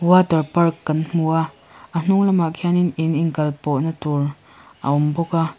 water park kan hmu a a hnung lamah khianin in inkal pawh natur a awm bawka.